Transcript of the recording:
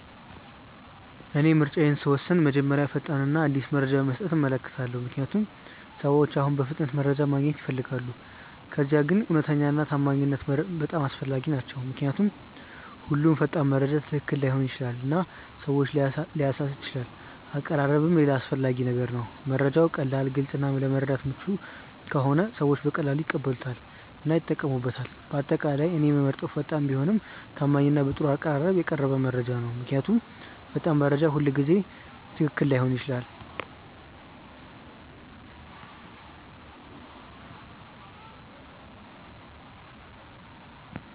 እኔ ምርጫዬን ስወስን መጀመሪያ ፈጣን እና አዲስ መረጃ መስጠቱን እመለከታለሁ፣ ምክንያቱም ሰዎች አሁን በፍጥነት መረጃ ማግኘት ይፈልጋሉ። ከዚያ ግን እውነተኛነት እና ታማኝነት በጣም አስፈላጊ ናቸው ምክንያቱም ሁሉም ፈጣን መረጃ ትክክል ላይሆን ይችላል እና ሰዎችን ሊያሳስት ይችላል አቀራረብም ሌላ አስፈላጊ ነገር ነው፤ መረጃው ቀላል፣ ግልጽ እና ለመረዳት ምቹ ከሆነ ሰዎች በቀላሉ ይቀበሉታል እና ይጠቀሙበታል። በአጠቃላይ እኔ የምመርጠው ፈጣን ቢሆንም ታማኝ እና በጥሩ አቀራረብ የቀረበ መረጃ ነው። ምክንያቱም ፈጣን መረጃ ሁልጊዜ ትክክል ላይሆን ይችላል።